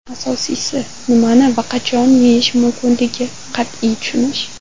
Asosiysi nimani va qachon yeyish mumkinligini qat’iy tushunish.